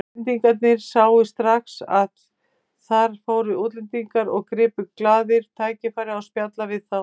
Íslendingarnir sáu strax að þar fóru útlendingar og gripu glaðir tækifærið að spjalla við þá.